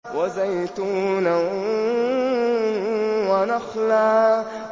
وَزَيْتُونًا وَنَخْلًا